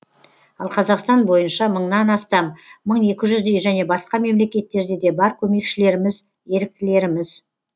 ал қазақстан бойынша мыңнан астам мың екі жүздей және басқа мемлекеттерде де бар көмекшілеріміз еріктілеріміз